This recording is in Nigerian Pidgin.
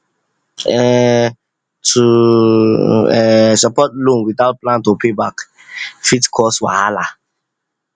um to um support loan without plan to pay back fit cause wahala